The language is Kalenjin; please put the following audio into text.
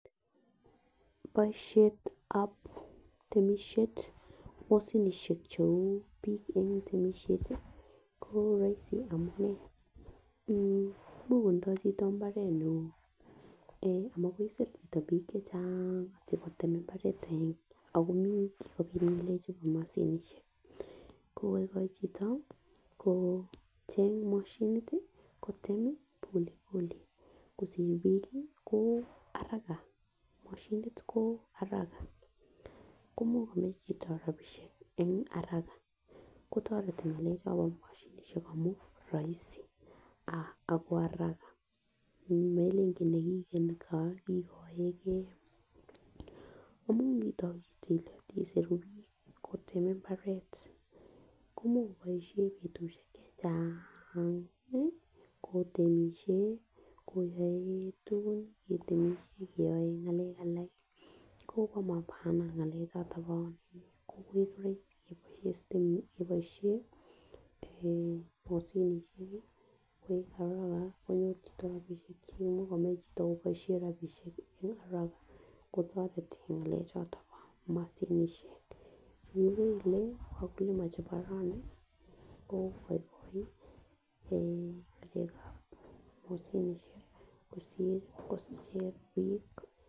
Boishetab temishet moshinishek cheu bik en temishet tii ko roisi amun much kotindo chito imbaret neo amakoi isir chito bik chechang moche kotem imbaret agenge ako mii kikopit ngalek chubo moshinishek kokoigoe chito kocheng moshinit tii kote Pole pole kosir bik ko haraka moshinit ko haraka komuch komach chito rabishek en haraka kotoreti ngalek chombo moshinishek amun roisi ah ako haraka melen kole kigeni chon kikoegee amun niton iit ile kesir bik kotem imbaret komuch koboishen betushek chechangi kotemishe koyoe tukuk ketemishe keyoen ngalek alak kii ko mobo maana ngalek choton ko Iko roisi keboishen moshinishek kii koik haraka konyor chito rabishek cheimuch komach chito koboishen rabishek eh haraka kotoreti ngalek choton bo moshinishek. Ikere ile wakulima chebo rani ko igoigoi ngalekab moshinishek kosir kosir bik.